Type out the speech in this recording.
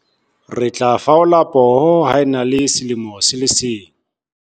Re tla faola poho ha e na le selemo se le seng.